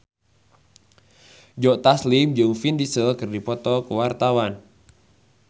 Joe Taslim jeung Vin Diesel keur dipoto ku wartawan